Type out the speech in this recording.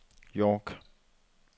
York